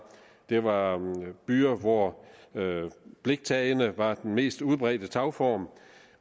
var byer hvor bliktagene var den mest udbredte tagform